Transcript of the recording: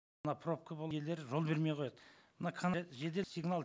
мына пробка жол бермей қояды мына жедел сигнал